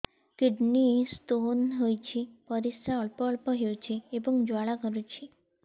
kidney stone ହୋଇଛି ପରିସ୍ରା ଅଳ୍ପ ଅଳ୍ପ ହେଉଛି ଏବଂ ଜ୍ୱାଳା କରୁଛି